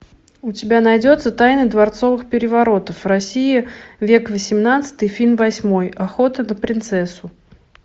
у тебя найдется тайна дворцовых переворотов в россии век восемнадцатый фильм восьмой охота на принцессу